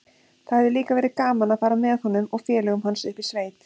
Það hefði líka verið gaman að fara með honum og félögum hans upp í sveit.